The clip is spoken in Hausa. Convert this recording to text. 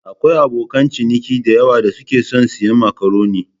Akwai abokan ciniki da yawa da suke son siyan makaroni.